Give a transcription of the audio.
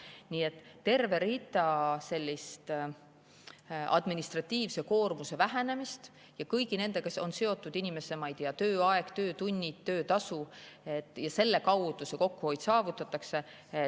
Nii et terve hulk sellist administratiivse koormuse vähenemist ja kõigi sellega seotud inimeste, ma ei tea, tööaeg, töötunnid, töötasu – selle kaudu see kokkuhoid saavutatakse.